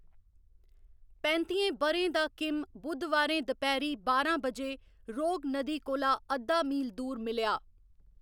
पैंत्तियें ब'रें दा किम बु़धवारें दपैह्‌‌री बारां बजे रोग नदी कोला अद्धा मील दूर मिलेआ।